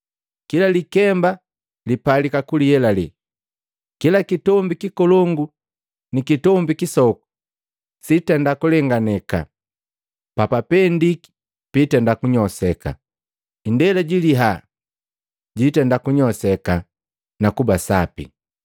Kila likemba lipalika kuyelale, kila kitombi kikolongu ni kitombi kisoku sitenda kulenganakeka, papapendiki piitenda kunyosheka, indela jiliha jiitenda kunyosheka na kuba sapi.